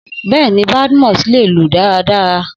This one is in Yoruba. Bẹ́ẹ̀ni, Badmus lè lù dáradára